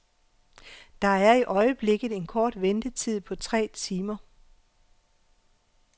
Der er i øjeblikket en kort ventetid på tre timer.